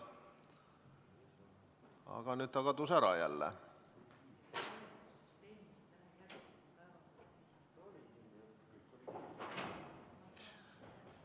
Aga nüüd ta kadus jälle ära.